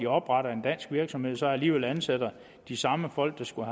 opretter en dansk virksomhed og så alligevel ansætter de samme folk der skulle